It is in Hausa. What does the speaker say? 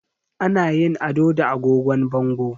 Ana yin ado da agogon bango